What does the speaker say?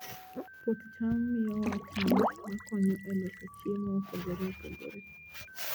Puoth cham miyowa cham ma konyo e loso chiemo mopogore opogore.